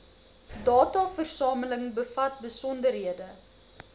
dataversameling bevat besonderhede